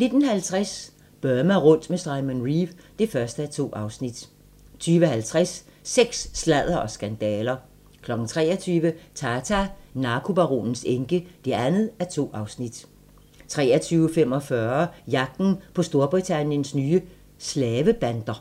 19:50: Burma rundt med Simon Reeve (1:2) 20:50: Sex, sladder og skandaler 23:00: Tata: Narkobaronens enke (2:2) 23:45: Jagten på Storbritanniens nye slave-bander